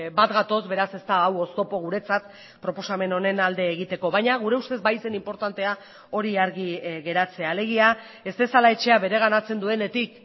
bat gatoz beraz ez da hau oztopo guretzat proposamen honen alde egiteko baina gure ustez bai zen inportantea hori argi geratzea alegia ez dezala etxea bereganatzen duenetik